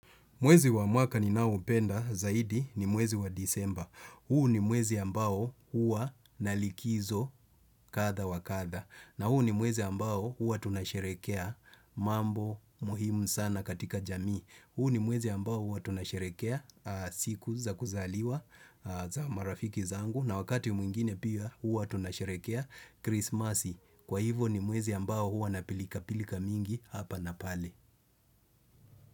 Mwezi wa mwaka ninao upenda zaidi ni mwezi wa disemba. Huu ni mwezi ambao huwa na likizo katha wa katha. Na huu ni mwezi ambao huwa tunasherekea mambo muhimu sana katika jamii. Huu ni mwezi ambao huwa tunasherekea siku za kuzaliwa za marafiki zangu. Na wakati mwingine pia huwa tunasherekea krismasi. Kwa hivo ni mwezi ambao huwa na pilika pilika mingi hapa na pale.